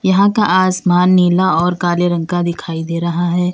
यहां का आसमान नीला और काले रंग का दिखाई दे रहा है।